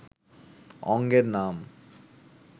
অঙ্গের নাম